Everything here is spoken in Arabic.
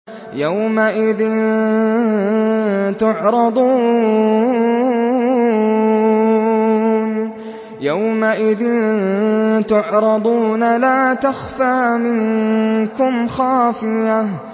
يَوْمَئِذٍ تُعْرَضُونَ لَا تَخْفَىٰ مِنكُمْ خَافِيَةٌ